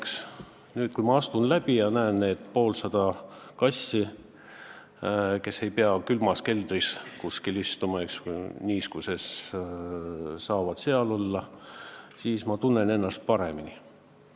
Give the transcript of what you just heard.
Kui ma nüüd astun sealt läbi ja näen neid pooltsadat kassi, kes ei pea enam külmas keldris niiskuses istuma, siis ma tunnen ennast paremini.